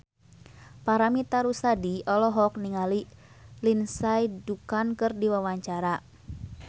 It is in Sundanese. Paramitha Rusady olohok ningali Lindsay Ducan keur diwawancara